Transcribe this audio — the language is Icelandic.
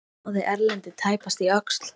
Otti náði Erlendi tæpast í öxl.